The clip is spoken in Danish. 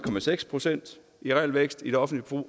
procent i realvækst i det offentlige